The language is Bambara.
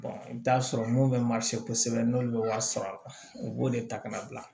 i bɛ t'a sɔrɔ mun bɛ kosɛbɛ n'olu bɛ wari sɔrɔ a kɔnɔ u b'o de ta ka na bila